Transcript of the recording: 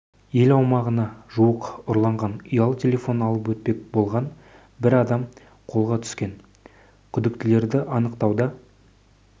ел аумағына жуық ұрланған ұялы телефон алып өтпек болған бір адам қолға түскен күдіктілерді анықтауда